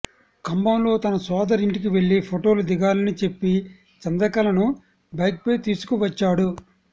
కంభంలో తన సోదరి ఇంటికి వెళ్లి ఫొటోలు దిగాలని చెప్పి చంద్రకలను బైక్పై తీసుకువచ్చాడు